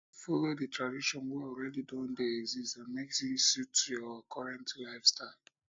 follow the traditions wey already don de exist and make im suit your current lifestyle